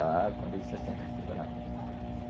Ah, quando eu disse assim, ele ficou bravo.